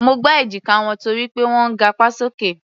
Mo gbá èjíká wọn torí pé wọ́n ń gapá sókè.